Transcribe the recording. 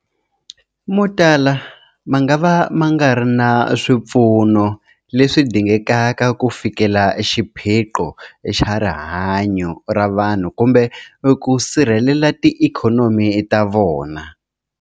Motala mangava ma nga ri na swipfuno leswi dingekaka ku fikelela xiphiqo xa rihanyu ra vanhu kumbe ku sirhelela tiikhonomi ta vona.